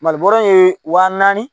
Mali bɔrɛ ye waa naani